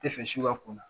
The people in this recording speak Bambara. Tɛ fɛ si ka kunna